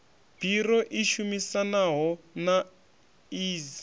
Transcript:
biro i shumisanaho na iss